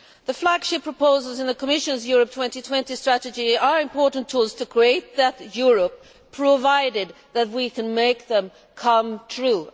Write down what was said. The flagship proposals in the Commission's Europe 2020 strategy are important tools to create that Europe, provided that we can make them come true.